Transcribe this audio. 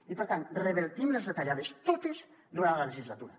i per tant revertim les retallades totes durant la legislatura